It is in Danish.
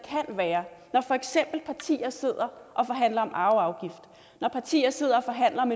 være når for eksempel partier sidder og forhandler om arveafgift når partier sidder og forhandler om